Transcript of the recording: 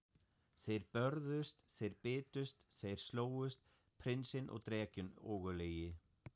Þeir börðust, þeir bitust, þeir slógust, prinsinn og drekinn ógurlegi.